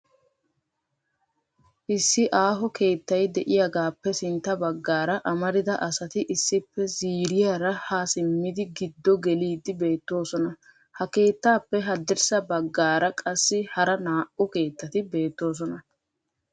issi aaho keettay de'iyaagappe sintta baggaara amarida asati issippe ziiriyaara ha simmidi giddo geliidi beettoosona, ha keettappe haddirssa baggaara qassi hara naa''u keetati beettoosona.